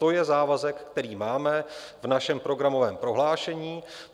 To je závazek, který máme v našem programovém prohlášení.